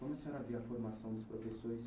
Como a senhora vê a formação dos professores